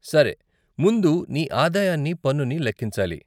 సరే, ముందు నీ ఆదాయాన్ని, పన్నుని లెక్కించాలి.